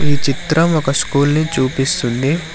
ఈ చిత్రం ఒక స్కూల్ ని చూపిస్తుంది.